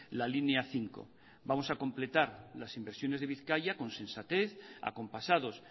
la línea cinco vamos a completar las inversiones de bizkaia con sensatez acompasados